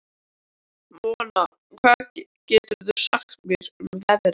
Mona, hvað geturðu sagt mér um veðrið?